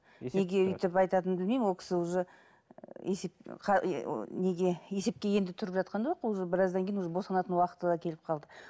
неге өйтіп айтатынын білмеймін ол кісі уже есеп ы неге есепке енді тұрып жатқан жоқ уже біраздан кейін уже босанатын уақыты да келіп калды